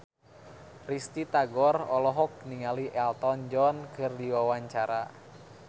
Risty Tagor olohok ningali Elton John keur diwawancara